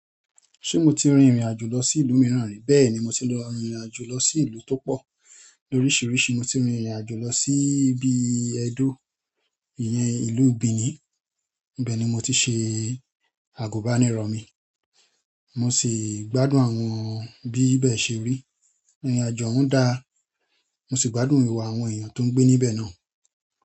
Ṣé mo ti rin ìrìn àjò lọ sí ìlú mìíràn rí? Bẹ́ẹ̀ni mo ti rin ìrìnàjò lo si ìlú ti o pọ lorisirisi. Mo ti rin ìrìn àjò lọ sí ibi Ẹ̀dó, ìyẹn ìlú Benin. Ìbẹ̀ ni mo ti ṣe àgùbánirọ̀ mi. Mo sì gbádùn àwọn bí bẹ̀ ṣe rí. Ìrìn àjò o hun dáa. Mo sì gbádùn ìwà àwọn èèyàn tó ń gbé níbẹ̀ náà.